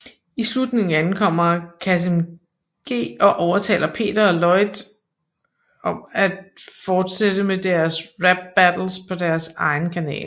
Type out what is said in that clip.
I slutningen ankommer KassemG og ovetaler Peter og Lloyd om at fortætte med deres rap battles på deres egen kanal